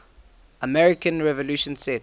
american revolution set